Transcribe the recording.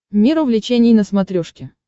мир увлечений на смотрешке